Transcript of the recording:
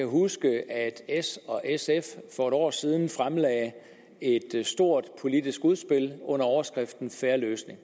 huske at s og sf for et år siden fremlagde et stort politisk udspil under overskriften fair løsning